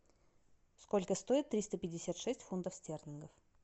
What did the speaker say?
сколько стоит триста пятьдесят шесть фунтов стерлингов